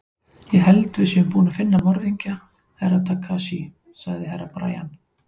Ég held að við séum búin að finna morðingju Herra Takashi, sagði Herra Brian.